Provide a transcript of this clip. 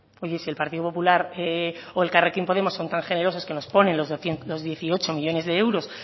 oye si el partido popular o elkarrekin podemos son tan generosos que nos ponen los dieciocho millónes de euros